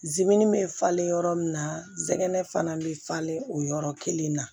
bɛ falen yɔrɔ min na zɛgɛnɛ fana bɛ falen o yɔrɔ kelen na